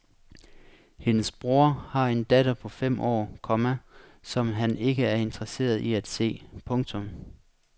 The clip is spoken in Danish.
Hendes bror har en datter på fem år, komma som han ikke er interesseret i at se. punktum